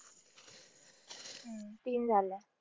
तीन झाल्या.